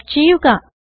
type ചെയ്യുക